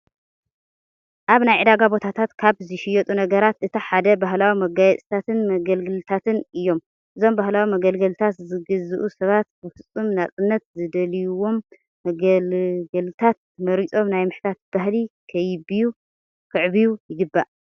ኣብ ናይ ዕዳጋ ቦታታት ካብ ዝሽየጡ ነገራት እቲ ሓደ ባህላዊ መጋየፅታትን መገልገልታት እዮም። እዞም ባህላዊ መገልገልታት ዝገዝኡ ሰባት ብፍፁም ነፃነት ዝደልዩዎም መገልገልታት መሪፆም ናይ ምሕታት ባህሊ ከይብዩ ይግባእ።